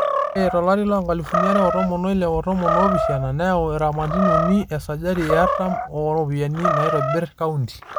Ore to lari loo nkalifuni are o tomon o ile o tomon oopishana neyau iramat uni esajati e aratam o ropiyiani naitobir kaonti